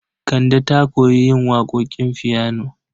Kande ta koyi yin waƙoƙin fiyano.